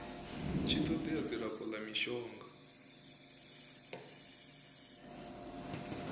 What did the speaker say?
tshi todea dzilafho la mishonga